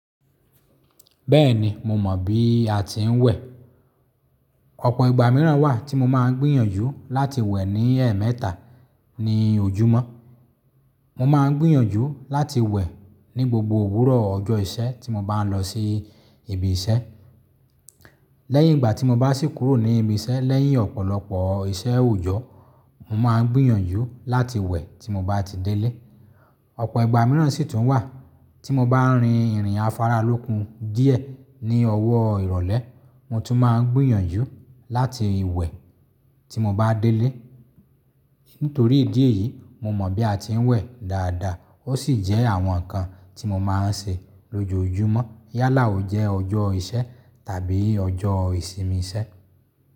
Bẹ́ẹ̀ni, mo mọ̀ bí a ti ń wẹ̀. Ọ̀pọ̀ ìgbà mìíràn wà tí mo máa ń gbìyànjú láti wẹ̀ ní ẹ̀ẹ̀mẹ́ta ní ojúmọ́. Mo máa ń gbìyànjú láti wẹ̀ ní gbogbo òwúrọ̀ ọjọ́ ìṣẹ́ tí mo bá ń lọ sí ibi ìṣẹ́. Lẹ́yìn ìgbà tí mo bá sì kúrò ní ibi ìṣẹ́ lẹ́yìn ọ̀pọ̀lọpọ̀ iṣẹ́ òjọ́, mo máa ń gbìyànjú láti wẹ̀ tí mo bá ti délé. Ọ̀pọ̀ ìgbà mìíràn sì tún wà tí mo bá ń rin ìrìn afáralókun díẹ̀ ní ọwọ́ ìrọ̀lẹ́, mo tún máa ń gbìyànjú láti wẹ̀ tí mo bá délé. Nítorí ìdí èyí, mo mọ̀ bí a ti ń wẹ̀ dáadáa ó sì jẹ́ àwọn nǹkan tí mo máa ń ṣe lójoojúmọ́ yálà ó jẹ́ ọjọ́ ìṣẹ́ tàbí ọjọ́ ìsinmi iṣẹ́.